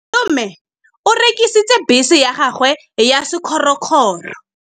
Malome o rekisitse bese ya gagwe ya sekgorokgoro.